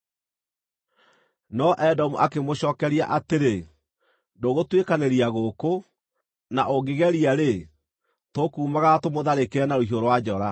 No Edomu akĩmũcookeria atĩrĩ: “Ndũgũtuĩkanĩria gũkũ; na ũngĩgeria-rĩ, tũkuumagara tũmũtharĩkĩre na rũhiũ rwa njora.”